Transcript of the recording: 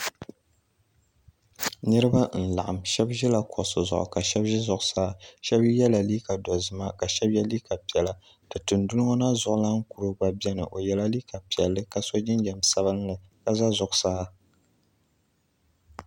Niriba n laɣim shɛba zila kuɣusi zuɣu ka shɛba zi zuɣusaa shɛba ye la liiga dozima ka shɛba ye liiga piɛlla ti tinduli ŋɔ na zuɣu lana kuro gba bɛni o ye la liiga piɛlli ka so jinjam sabinli ka zi zuɣusaa.